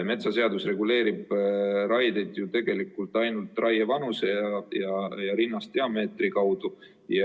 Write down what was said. Metsaseadus reguleerib raieid ju ainult raievanuse ja rinnasdiameetri kaudu.